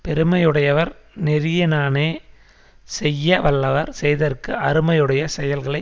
பெருமையுடையவர் நெறியினானே செய்யவல்லவர் செய்தற்கு அருமையுடைய செயல்களை